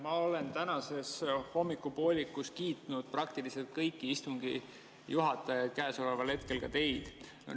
Ma olen täna hommikupoolikul kiitnud praktiliselt kõiki istungi juhatajaid, ka teid.